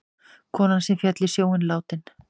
Konan sem féll í sjóinn látin